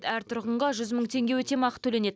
әр тұрғынға жүз мың теңге өтемақы төленеді